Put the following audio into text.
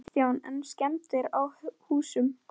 Kristján: En skemmdir á húsum?